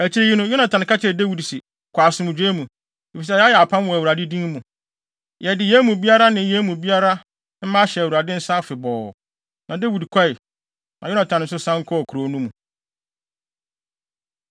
Akyiri yi no, Yonatan ka kyerɛɛ Dawid se, “Kɔ asomdwoe mu, efisɛ yɛayɛ apam wɔ Awurade din mu. Yɛde yɛn mu biara ne yɛn mu biara mma ahyɛ Awurade nsa afebɔɔ.” Na Dawid kɔe, na Yonatan nso san kɔɔ kurow no mu.